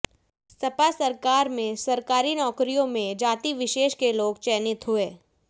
सपा सरकार में सरकारी नौकरियों में जाति विशेष के लोग चयनित हुए